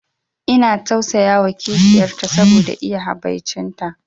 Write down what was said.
Ina tausayawa kishiyar ta saboda iya habaici ta